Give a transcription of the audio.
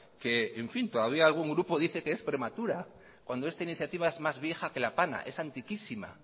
que todavía algún grupo dice que es prematura cuando esta iniciativa es más vieja que la pana es antiquísima